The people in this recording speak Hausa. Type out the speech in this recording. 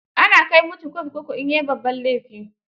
Ana kai mutu kurkuku in yai babban laifi.